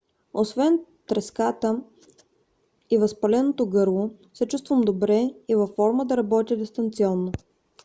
освен треската и възпаленото гърло се чувствам добре и във форма да работя дистанционно